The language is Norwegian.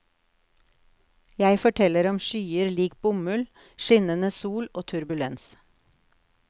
Jeg forteller om skyer lik bomull, skinnende sol og turbulens.